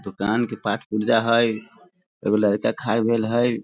दूकान के पार्ट पुर्जा हेय एगो लड़का खाय ले गेल हेय।